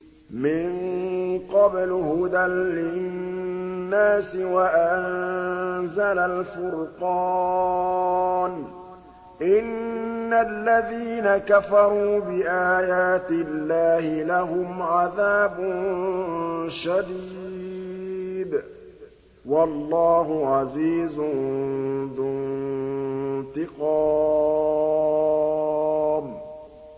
مِن قَبْلُ هُدًى لِّلنَّاسِ وَأَنزَلَ الْفُرْقَانَ ۗ إِنَّ الَّذِينَ كَفَرُوا بِآيَاتِ اللَّهِ لَهُمْ عَذَابٌ شَدِيدٌ ۗ وَاللَّهُ عَزِيزٌ ذُو انتِقَامٍ